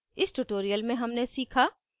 इस tutorial में हमने सीखा